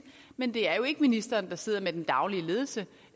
men det er jo ikke ministeren der sidder med den daglige ledelse